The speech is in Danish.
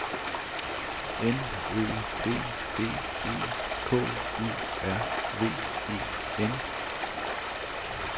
N Ø D D E K U R V E N